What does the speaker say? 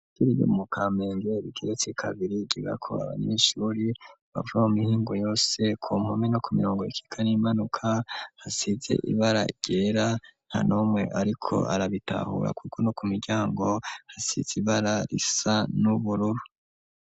Turi yo mu kamenge bikiza c' kabiri gigakoamishuri bavabu mihingu yose kompome no ku mirongo ikika n'imanuka hasize ibara ryera hanomwe, ariko arabitahura, kuko no ku miryango hasize ibara risa n'ubururu.